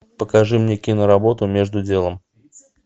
покажи мне киноработу между делом